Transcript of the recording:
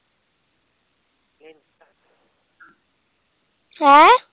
ਹੈਂ?